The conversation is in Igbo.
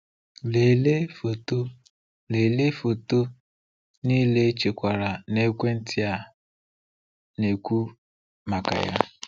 Lelee foto Lelee foto niile echekwara n'ekwentị a na-ekwu maka ya.